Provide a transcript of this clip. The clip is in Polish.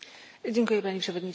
Panie Przewodniczący!